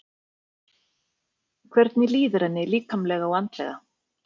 Hvernig líður henni líkamlega og andlega?